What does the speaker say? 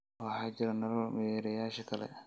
waxaa jira nolol meerayaasha kale